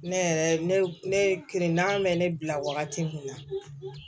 Ne yɛrɛ ne ne ye kirina bɛ ne bila wagati kun na